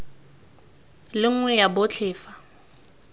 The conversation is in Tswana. le nngwe ya botlhe fa